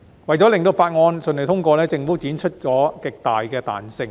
為了令法案順利通過，政府展示了極大的彈性。